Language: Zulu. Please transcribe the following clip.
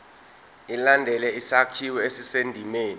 ilandele isakhiwo esisendimeni